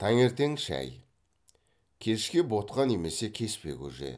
таңертең шай кешке ботқа немесе кеспе көже